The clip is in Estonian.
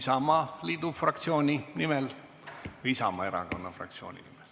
Mihhail Lotman Isamaa Erakonna fraktsiooni nimel.